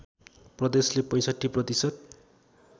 प्रदेशले ६५ प्रतिशत